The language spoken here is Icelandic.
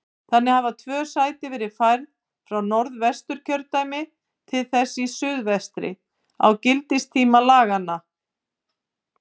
Þannig hafa tvö sæti verið færð frá Norðvesturkjördæmi til þess í suðvestri á gildistíma laganna.